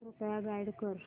कृपया गाईड कर